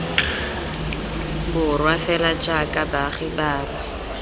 borwa fela jaaka baagi bangwe